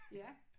Ja